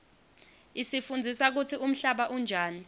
isifundzisa kutsi umhlaba unjani